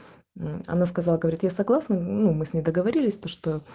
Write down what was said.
она сказала говорит я согласна но мы с ней договорились